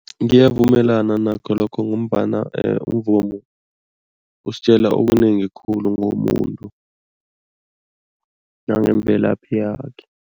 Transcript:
Ngiyavumelana nakho lokho ngombana umvumo usitjela okunengi khulu ngomuntu nangemvelaphi yakhe.